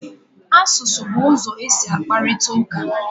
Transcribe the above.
Asụsụ bụ ụzọ e si akparịta ụka.